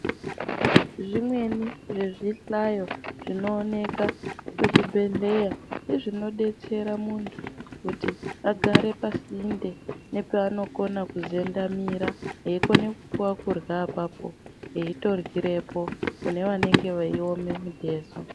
Zvimweni zvezvihlayo zvinooneka kuzvibhedhlera ngezvinodetsera muntu kuti agare pasinte nepaanokona kuzendamira eikona kupuwa kurya apapo eitoryirepo kune venenge veiome mitezo.